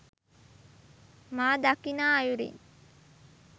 මා දකිනා අයුරින්